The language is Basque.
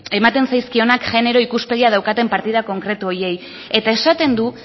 ematen zaizkionak genero ikuspegia daukaten partida konkretu horiei eta esaten du